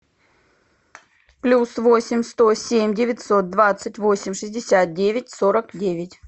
плюс восемь сто семь девятьсот двадцать восемь шестьдесят девять сорок девять